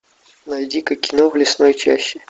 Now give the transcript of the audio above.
найди ка кино в лесной чаще